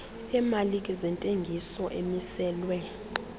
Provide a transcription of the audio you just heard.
emalike zentengiso amiselwe